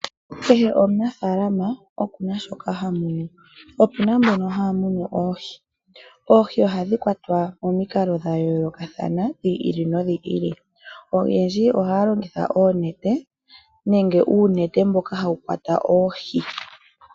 Kehe omunafaalama okuna shoka hamunu. Opuna mbono haya munu oohi. Oohi ohadhi kwatwa momikalo dhayoolokathana, dhiili nodhili . Oyendji ohaya longitha oonete nenge uunete mboka hawu kwata oohi.